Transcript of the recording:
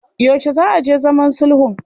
Yaushe za a je zaman sulhun?